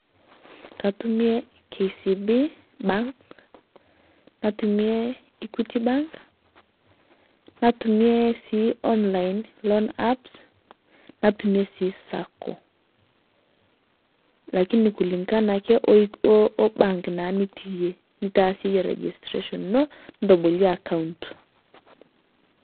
Kaitumie KCB bank, naitumie Equity bank, naitumie sii online loan apps neitumie sii sacco [cs, lakini kulingana ake obank naa nitii iyee nitaasie enye registration enoo nitoboolie account.